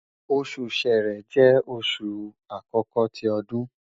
osu Ṣẹrẹ jẹ oṣu akọkọ ti ọdun